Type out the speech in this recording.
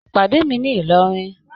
pàdé mi ní ìlọrin